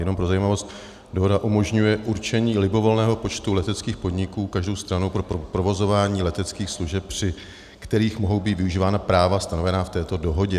Jenom pro zajímavost, dohoda umožňuje určení libovolného počtu leteckých podniků každou stranou pro provozování leteckých služeb, při kterých mohou být využívána práva stanovená v této dohodě.